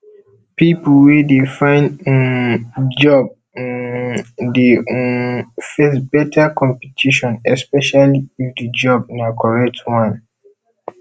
pipo wey de find um job um de um face better competition esepecially if di job na correct one